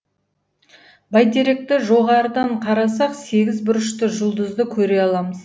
бәйтеректі жоғарыдан қарасақ сегіз бұрышты жұлдызды көре аламыз